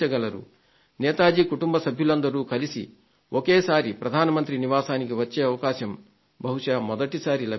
నేతాజీ కుటుంబ సభ్యులందరూ కలసి ఒకేసారి ప్రధాన మంత్రి నివాసానికి వచ్చే అవకాశం బహుశా మొదటిసారి లభించింది